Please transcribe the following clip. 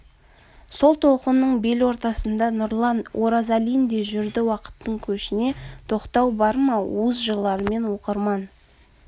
сол толқынның бел ортасында нұрлан оразалин де жүрді уақыттың көшіне тоқтау бар ма уыз жырларымен оқырман